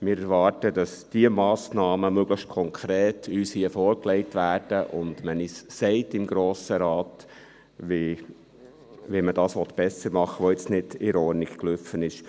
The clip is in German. Wir erwarten, dass uns diese Massnahmen hier möglichst konkret vorgelegt werden und man uns im Grossen Rat sagt, wie man besser machen will, was jetzt nicht ordnungsgemäss gelaufen ist.